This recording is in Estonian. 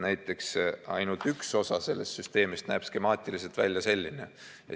Näiteks, ainult üks osa sellest süsteemist näeb skemaatiliselt välja selline. .